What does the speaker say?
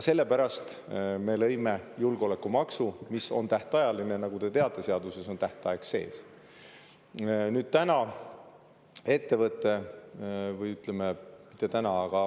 Sellepärast me lõime julgeolekumaksu, mis on tähtajaline, nagu te teate, seaduses on ju tähtaeg sees.